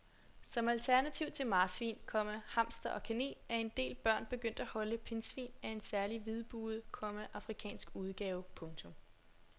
Som alternativ til marsvin, komma hamster og kanin er en del børn begyndt at holde pindsvin af en særlig hvidbuget, komma afrikansk udgave. punktum